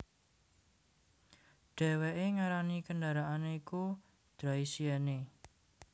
Dhèwèké ngarani kendaraané iku Draisienne